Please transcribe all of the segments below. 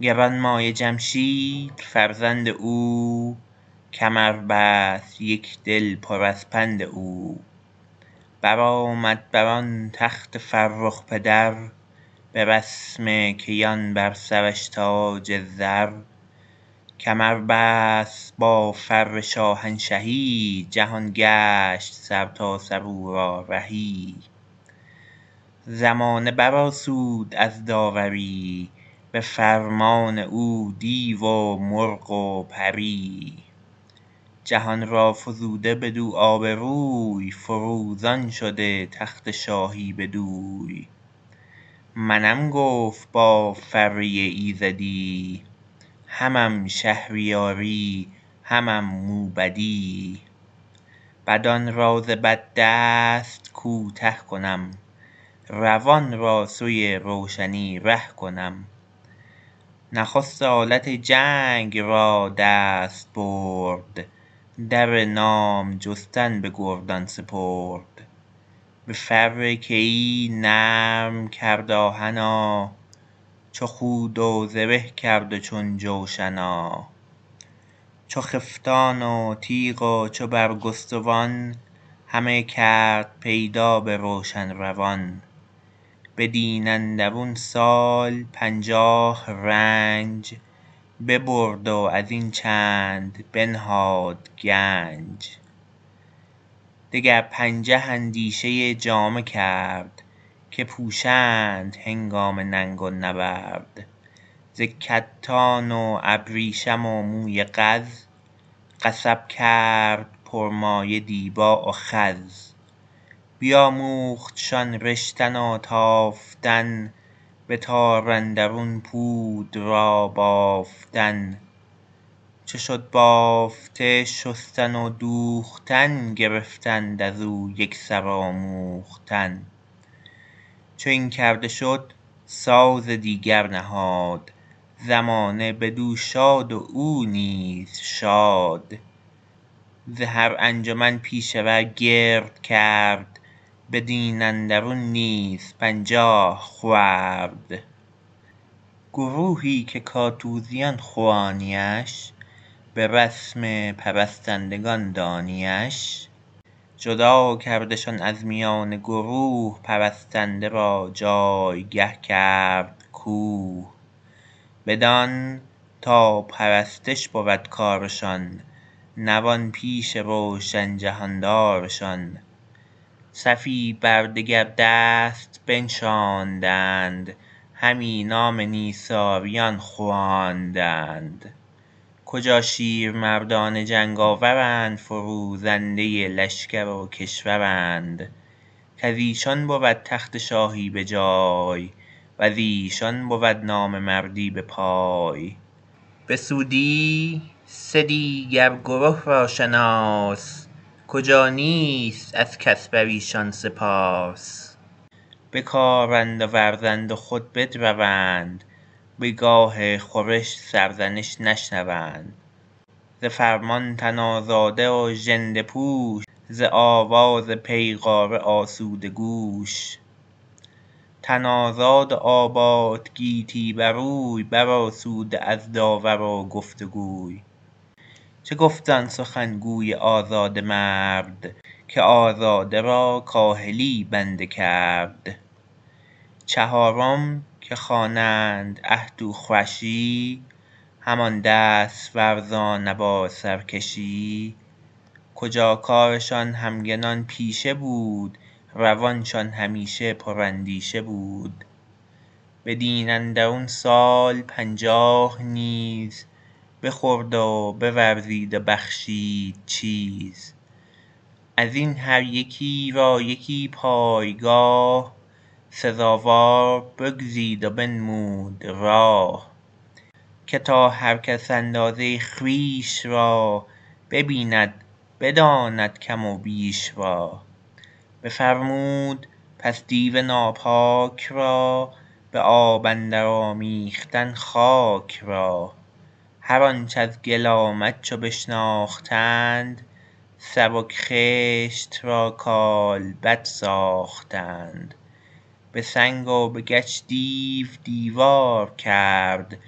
گرانمایه جمشید فرزند او کمر بست یک دل پر از پند او برآمد بر آن تخت فرخ پدر به رسم کیان بر سرش تاج زر کمر بست با فر شاهنشهی جهان گشت سرتاسر او را رهی زمانه بر آسود از داوری به فرمان او دیو و مرغ و پری جهان را فزوده بدو آبروی فروزان شده تخت شاهی بدوی منم گفت با فره ایزدی همم شهریاری همم موبدی بدان را ز بد دست کوته کنم روان را سوی روشنی ره کنم نخست آلت جنگ را دست برد در نام جستن به گردان سپرد به فر کیی نرم کرد آهنا چو خود و زره کرد و چون جوشنا چو خفتان و تیغ و چو برگستوان همه کرد پیدا به روشن روان بدین اندرون سال پنجاه رنج ببرد و از این چند بنهاد گنج دگر پنجه اندیشه جامه کرد که پوشند هنگام ننگ و نبرد ز کتان و ابریشم و موی قز قصب کرد پر مایه دیبا و خز بیاموختشان رشتن و تافتن به تار اندرون پود را بافتن چو شد بافته شستن و دوختن گرفتند از او یک سر آموختن چو این کرده شد ساز دیگر نهاد زمانه بدو شاد و او نیز شاد ز هر انجمن پیشه ور گرد کرد بدین اندرون نیز پنجاه خورد گروهی که کاتوزیان خوانی اش به رسم پرستندگان دانی اش جدا کردشان از میان گروه پرستنده را جایگه کرد کوه بدان تا پرستش بود کارشان نوان پیش روشن جهاندارشان صفی بر دگر دست بنشاندند همی نام نیساریان خواندند کجا شیر مردان جنگ آورند فروزنده لشکر و کشورند کز ایشان بود تخت شاهی به جای و ز ایشان بود نام مردی به پای بسودی سه دیگر گره را شناس کجا نیست از کس بر ایشان سپاس بکارند و ورزند و خود بدروند به گاه خورش سرزنش نشنوند ز فرمان تن آزاده و ژنده پوش ز آواز پیغاره آسوده گوش تن آزاد و آباد گیتی بر اوی بر آسوده از داور و گفتگوی چه گفت آن سخن گوی آزاده مرد که آزاده را کاهلی بنده کرد چهارم که خوانند اهتوخوشی همان دست ورزان ابا سرکشی کجا کارشان همگنان پیشه بود روانشان همیشه پر اندیشه بود بدین اندرون سال پنجاه نیز بخورد و بورزید و بخشید چیز از این هر یکی را یکی پایگاه سزاوار بگزید و بنمود راه که تا هر کس اندازه خویش را ببیند بداند کم و بیش را بفرمود پس دیو ناپاک را به آب اندر آمیختن خاک را هر آنچ از گل آمد چو بشناختند سبک خشت را کالبد ساختند به سنگ و به گچ دیو دیوار کرد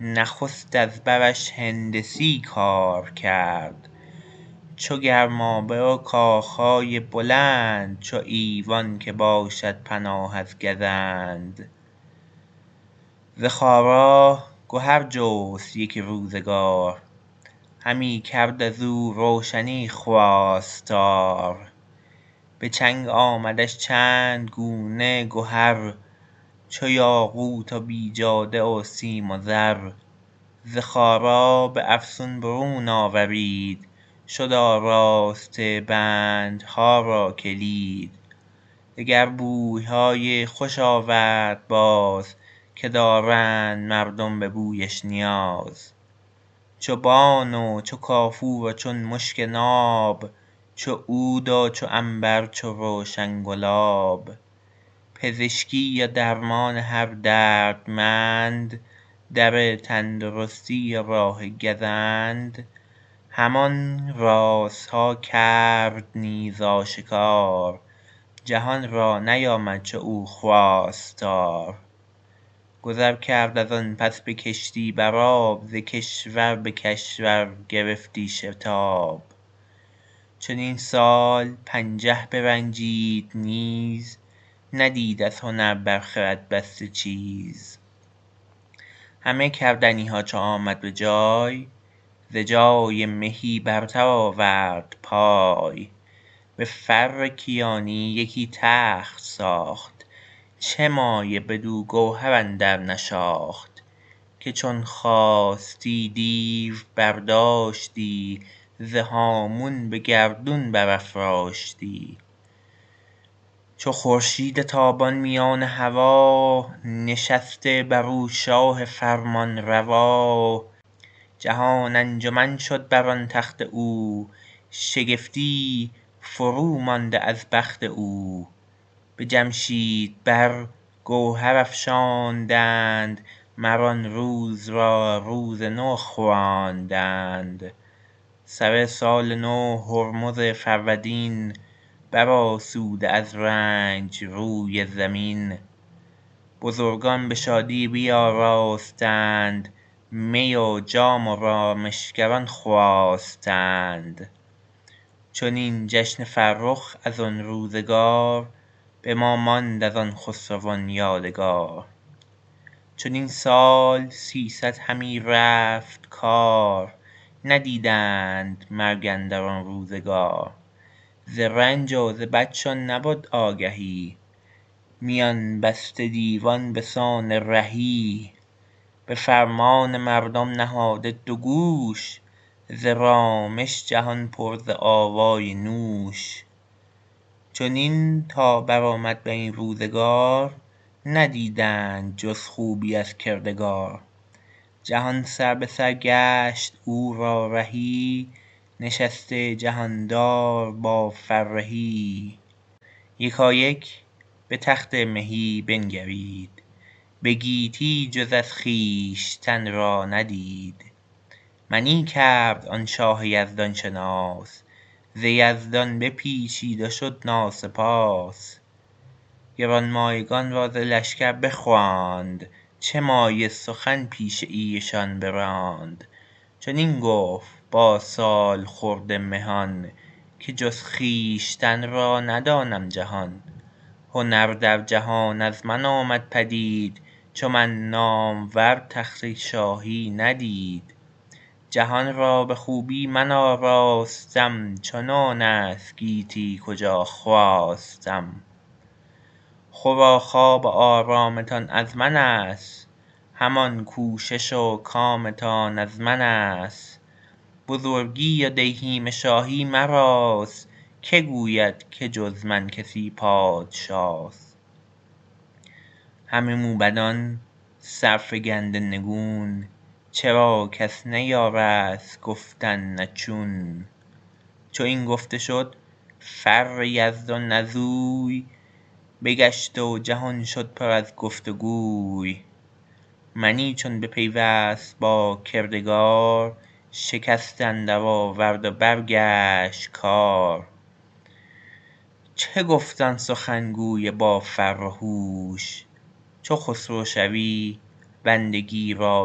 نخست از برش هندسی کار کرد چو گرمابه و کاخ های بلند چو ایوان که باشد پناه از گزند ز خارا گهر جست یک روزگار همی کرد از او روشنی خواستار به چنگ آمدش چند گونه گهر چو یاقوت و بیجاده و سیم و زر ز خارا به افسون برون آورید شد آراسته بندها را کلید دگر بوی های خوش آورد باز که دارند مردم به بویش نیاز چو بان و چو کافور و چون مشک ناب چو عود و چو عنبر چو روشن گلاب پزشکی و درمان هر دردمند در تندرستی و راه گزند همان رازها کرد نیز آشکار جهان را نیامد چنو خواستار گذر کرد از آن پس به کشتی بر آب ز کشور به کشور گرفتی شتاب چنین سال پنجه برنجید نیز ندید از هنر بر خرد بسته چیز همه کردنی ها چو آمد به جای ز جای مهی برتر آورد پای به فر کیانی یکی تخت ساخت چه مایه بدو گوهر اندر نشاخت که چون خواستی دیو برداشتی ز هامون به گردون برافراشتی چو خورشید تابان میان هوا نشسته بر او شاه فرمانروا جهان انجمن شد بر آن تخت او شگفتی فرومانده از بخت او به جمشید بر گوهر افشاندند مر آن روز را روز نو خواندند سر سال نو هرمز فرودین بر آسوده از رنج روی زمین بزرگان به شادی بیاراستند می و جام و رامشگران خواستند چنین جشن فرخ از آن روزگار به ما ماند از آن خسروان یادگار چنین سال سیصد همی رفت کار ندیدند مرگ اندر آن روزگار ز رنج و ز بدشان نبد آگهی میان بسته دیوان به سان رهی به فرمان مردم نهاده دو گوش ز رامش جهان پر ز آوای نوش چنین تا بر آمد بر این روزگار ندیدند جز خوبی از کردگار جهان سربه سر گشت او را رهی نشسته جهاندار با فرهی یکایک به تخت مهی بنگرید به گیتی جز از خویشتن را ندید منی کرد آن شاه یزدان شناس ز یزدان بپیچید و شد ناسپاس گرانمایگان را ز لشگر بخواند چه مایه سخن پیش ایشان براند چنین گفت با سالخورده مهان که جز خویشتن را ندانم جهان هنر در جهان از من آمد پدید چو من نامور تخت شاهی ندید جهان را به خوبی من آراستم چنان است گیتی کجا خواستم خور و خواب و آرامتان از من است همان کوشش و کامتان از من است بزرگی و دیهیم شاهی مراست که گوید که جز من کسی پادشاست همه موبدان سرفگنده نگون چرا کس نیارست گفتن نه چون چو این گفته شد فر یزدان از اوی بگشت و جهان شد پر از گفت وگوی منی چون بپیوست با کردگار شکست اندر آورد و برگشت کار چه گفت آن سخن گوی با فر و هوش چو خسرو شوی بندگی را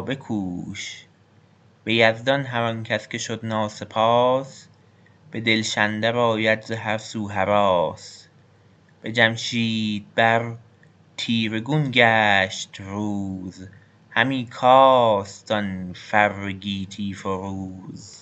بکوش به یزدان هر آن کس که شد ناسپاس به دلش اندر آید ز هر سو هراس به جمشید بر تیره گون گشت روز همی کاست آن فر گیتی فروز